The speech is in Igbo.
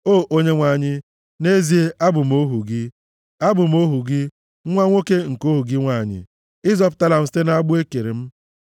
O Onyenwe anyị, nʼezie, abụ m ohu gị; abụ m ohu gị, nwa nwoke nke ohu gị nwanyị; ị zọpụtala m site na agbụ e kere m.